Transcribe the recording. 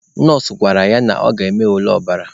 Nọọsụ gwara ya na ọ ga-eme ule ọbara.